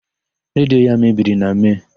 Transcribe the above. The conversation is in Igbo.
Redio ya mebiri na Mee.